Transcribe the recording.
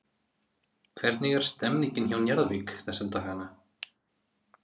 Hvernig er stemningin hjá Njarðvík þessa dagana?